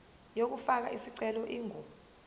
yokufaka isicelo ingu